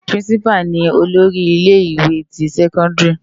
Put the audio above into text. Pirinsipá ni ólóri ile iwé ti sèkóndiri